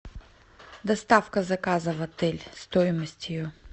доставка заказа в отель стоимость ее